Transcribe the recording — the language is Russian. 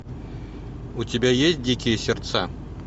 у тебя есть дикие сердца